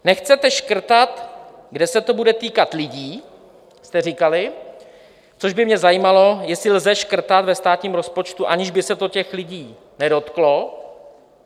Nechcete škrtat, kde se to bude týkat lidí, jste říkali, což by mě zajímalo, jestli lze škrtat ve státním rozpočtu, aniž by se to těch lidí nedotklo.